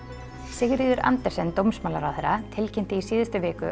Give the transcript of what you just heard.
Sigríður Andersen dómsmálaráðherra tilkynnti í síðustu viku